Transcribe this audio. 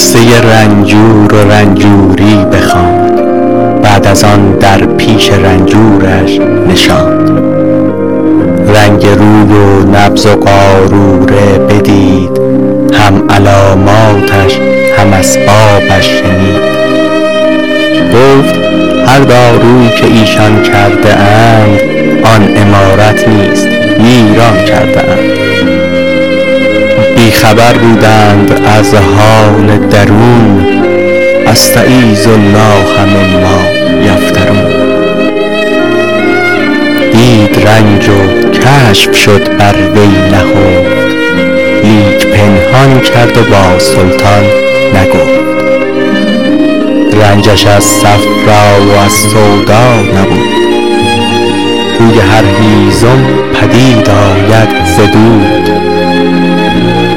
قصه رنجور و رنجوری بخواند بعد از آن در پیش رنجورش نشاند رنگ روی و نبض و قاروره بدید هم علاماتش هم اسبابش شنید گفت هر دارو که ایشان کرده اند آن عمارت نیست ویران کرده اند بی خبر بودند از حال درون استـعـیــذ الـله مـمـــا یفـتـــرون دید رنج و کشف شد بر وی نهفت لیک پنهان کرد و با سلطان نگفت رنجش از صفرا و از سودا نبود بوی هر هیزم پدید آید ز دود